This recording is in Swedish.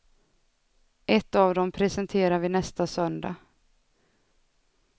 Ett av dem presenterar vi nästa söndag.